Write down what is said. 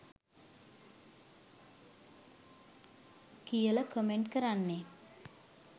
කියල කමෙන්ට් කරන්නේ?